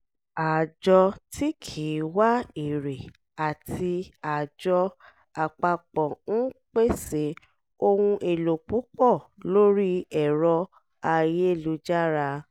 àjọ tí kì í wá èrè àti àjọ apapo ń pèsè ohun èlò púpọ̀ lórí ẹ̀rọ ayélujára